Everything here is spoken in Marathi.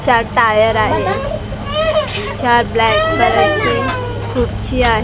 चार टायर आहे चार ब्लॅक कलरची खुर्ची आहे.